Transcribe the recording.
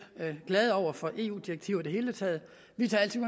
glade for eu direktiver i det hele taget vi tager altid